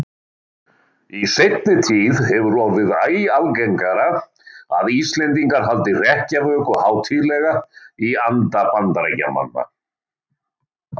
Í seinni tíð hefur orðið æ algengara að Íslendingar haldi hrekkjavöku hátíðlega í anda Bandaríkjamanna.